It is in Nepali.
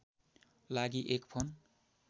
लागि एक फोन